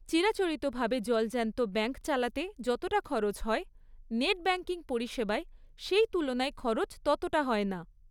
চিরাচরিতভাবে জলজ্যান্ত ব্যাংক চালাতে যতটা খরচ হয়, নেট ব্যাংকিং পরিষেবায় সেই তুলনায় খরচ ততটা হয় না।